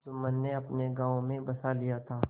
जुम्मन ने अपने गाँव में बसा लिया था